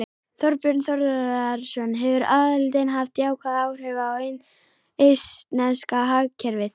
Þorbjörn Þórðarson: Hefur aðildin haft jákvæð áhrif á eistneska hagkerfið?